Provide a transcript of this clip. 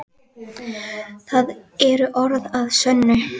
Það eru orð að sönnu.